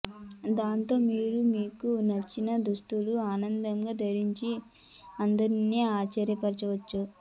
దాంతో మీరు మీకు నచ్చని దుస్తులను ఆనందంగా ధరించి అందరిని ఆశ్చర్యపచవచ్చు